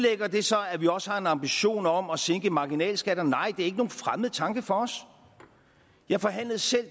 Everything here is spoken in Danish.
det så at vi også har en ambition om at sænke marginalskatterne nej det er ikke nogen fremmed tanke for os jeg forhandlede selv